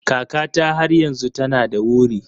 Kakata har yanzu tana da wuri.